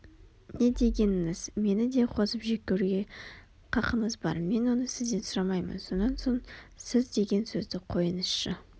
не дегеніңіз мені де қосып жек көруге қақыңыз бар мен оны сізден сұрамаймын сонан соң сіз деген сөзді қойыңызшы